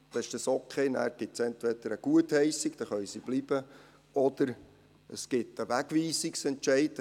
Es gibt nachher entweder eine Gutheissung, dann können sie bleiben, oder es gibt einen Wegweisungsentscheid.